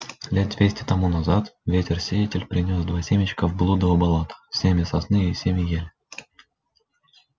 лет двести тому назад ветер-сеятель принёс два семечка в блудово болото семя сосны и семя ели